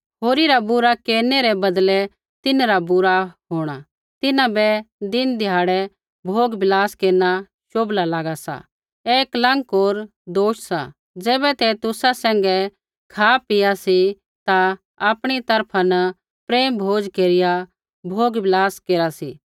होरी रा बुरा केरनै रै बदलै तिन्हरा बुरा होंणा तिन्हां बै दिनध्याड़ै भोगविलास केरना शोभला लागा सा ऐ कलंक होर दोष सा ज़ैबै ते तुसा सैंघै खापीआ सी ता आपणी तरफा न प्रेम भोज केरिया भोगविलास केरा सी